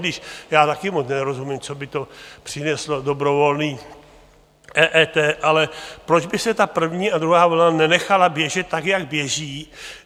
Když já taky moc nerozumím, co by to přineslo, dobrovolné EET, ale proč by se ta první a druhá vlna nenechala běžet tak, jak běží?